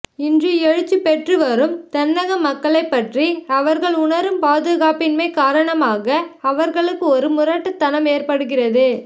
இன்று எழுச்சி பெற்று வரும் தென்னக மக்களைப்பற்றி அவர்கள் உணரும் பாதுகாப்பின்மை காரணமாக அவர்களுக்கு ஒரு முரட்டுத்தனம் ஏற்படுகிறது